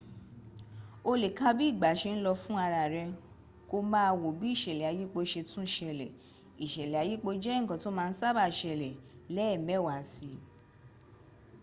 o le ka bi igba se n lo fun ara re ko maa wo bi isele ayipo se tun sele isele ayipo je nkan to ma n saba sele leemewa si